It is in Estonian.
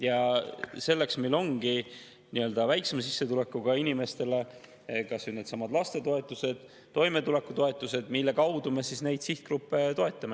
Ja selleks meil ongi väiksema sissetulekuga inimestele kas või needsamad toetused, toimetulekutoetus, mille kaudu me neid sihtgruppe toetame.